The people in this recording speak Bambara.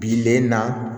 Bilen na